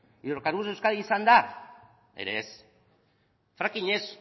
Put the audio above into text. hidrocarburos de euskadi izan da ere ez fracking ez